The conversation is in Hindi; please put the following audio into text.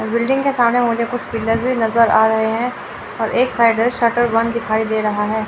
बिल्डिंग के सामने मुझे कुछ पिलर्स भी नज़र आ रहे हैं और एक साइड में शटर बंद दिखाई दे रहा है।